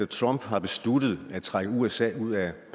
trump har besluttet at trække usa ud af